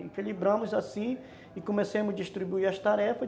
Equilibramos assim e comecemos a distribuir as tarefas.